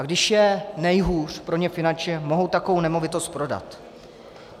A když je nejhůř pro ně finančně, mohou takovou nemovitost prodat.